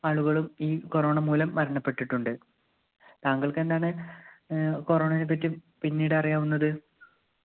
ആളുകളും ഈ corona മൂലം മരണപ്പെട്ടിട്ടുണ്ട്. തങ്ങൾക്കെന്താണ് ഏർ corona നെ പറ്റി പിന്നീടറിയാവുന്നത്?